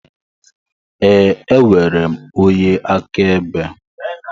Ee, enwere m onye akaebe